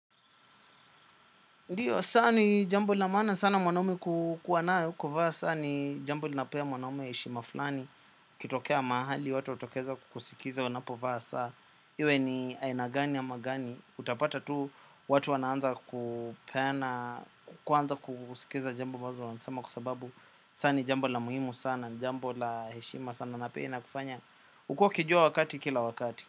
Ndiyo, saa ni jambo la maana sana mwanaume kukuwa nayo kuvaa, saa ni jambo lilinapea mwanaume heshima fulani, ikitokea mahali, watu watokeza kukusikiza unapovaa saa, iwe ni aina gani ama gani, utapata tu, watu wanaanza kupena, kuanza kukusikiza jambo ambazo wanasama kwa sababu, saa ni jambo la muhimu sana, jambo jambo la heshima sana na pia inakufanya, ukue ukijua wakati kila wakati.